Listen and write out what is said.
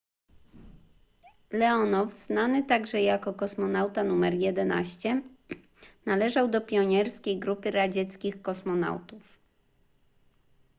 leonow znany także jako kosmonauta nr 11 należał do pionierskiej grupy radzieckich kosmonautów